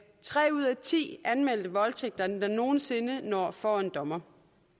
tre ud af ti anmeldte voldtægtssager der nogen sinde når for en dommer